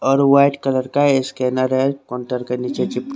और white colour का scanner है कोन्टर के निचे चिप--